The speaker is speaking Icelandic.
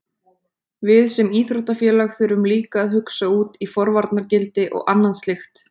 Við sem íþróttafélag þurfum líka að hugsa út í forvarnargildi og annað slíkt.